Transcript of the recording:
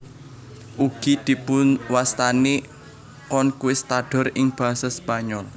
Ugi dipunwastani conquistador ing basa Spanyol